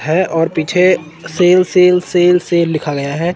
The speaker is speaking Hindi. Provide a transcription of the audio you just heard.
है और पीछे सेल सेल सेल सेल लिखा गया है।